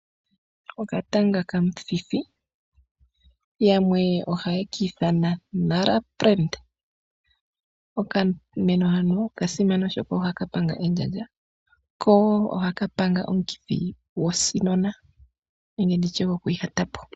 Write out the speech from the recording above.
Okatanga kamuthithi yamwe ohayeyi ki ithanwa oka !nara. Okameno hano okasima oshoka ohaka panga endjandja ko ohaka panga omukithi gwoshinona nenge gwokwiihatapo.